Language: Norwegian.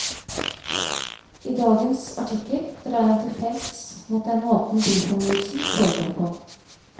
I dagens artikkel drar han til felts mot den måten byfornyelsen foregår på.